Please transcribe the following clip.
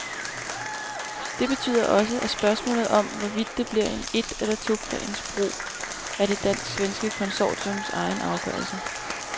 Det betyder også, at spørgsmålet om, hvorvidt det bliver en et- eller toplansbro er det dansk-svenske konsortiums egen afgørelse.